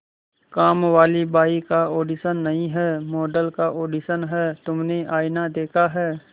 कामवाली बाई का ऑडिशन नहीं है मॉडल का ऑडिशन है तुमने आईना देखा है